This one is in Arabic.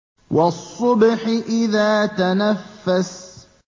وَالصُّبْحِ إِذَا تَنَفَّسَ